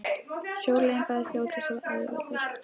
Sjóleiðin var bæði fljótlegust og auðveldust.